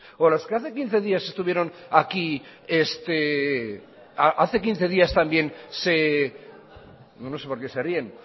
o a los que hace quince días estuvieron aquí no sé por qué se ríen